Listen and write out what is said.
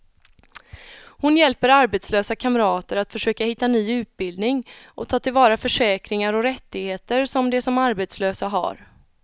Hon hjälper arbetslösa kamrater att försöka hitta ny utbildning och ta till vara försäkringar och rättigheter som de som arbetslösa har.